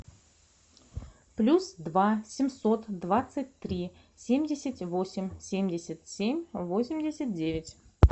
плюс два семьсот двадцать три семьдесят восемь семьдесят семь восемьдесят девять